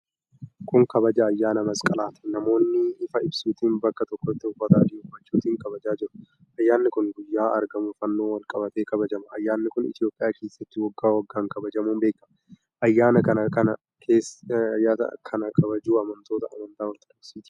Kun Kabaja ayyaana Masqalaati. Namoonni ifaa ibsuutiin bakka tokkotti uffata adii uffachuutiin kabajaa jiru. Ayyaanni kun guyyaa argamuu Fannootiin walqabatee kabajama. Ayyaanni kun Itiyoophiyaa keessatti waggaa waggaan kabajamuun beekama. Ayyaana kana kana kabaju Amantoota Amantaa Orthodoksii Itiyoophiyaati.